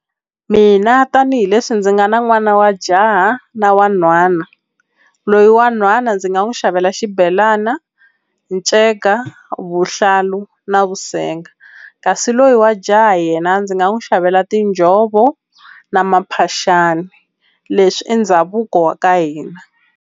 Mina tanihileswi ndzi nga na n'wana wa jaha na wa nhwana loyi wa nhwana ndzi nga n'wi xavela xibhelana nceka vuhlalu na vusenga kasi loyi wa jaha yena ndzi nga n'wi xavela tinjhovo na mphaxani leswi i ndhavuko wa ka hina.